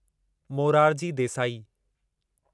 Morarji Desai